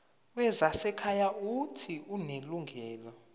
wezasekhaya uuthi unelungelo